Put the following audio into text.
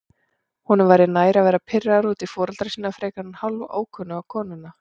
Honum væri nær að vera pirraður út í foreldra sína frekar en hálfókunnuga konuna.